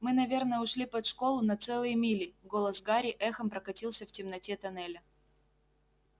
мы наверное ушли под школу на целые мили голос гарри эхом прокатился в темноте тоннеля